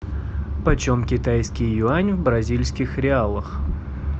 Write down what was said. почем китайский юань в бразильских реалах